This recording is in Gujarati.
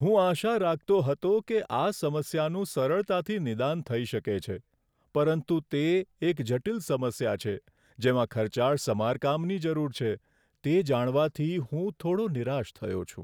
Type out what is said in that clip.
હું આશા રાખતો હતો કે આ સમસ્યાનું સરળતાથી નિદાન થઈ શકે છે, પરંતુ તે એક જટિલ સમસ્યા છે જેમાં ખર્ચાળ સમારકામની જરૂર છે તે જાણવાથી હું થોડો નિરાશ થયો છું.